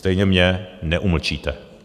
Stejně mě neumlčíte.